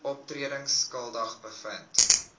oortredings skuldig bevind